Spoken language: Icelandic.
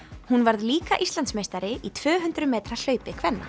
hún varð líka Íslandsmeistari í tvö hundruð metra hlaupi kvenna